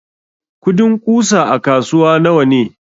kudin ƙusa a kasuwa nawane?